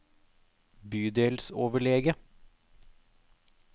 bydelsoverlege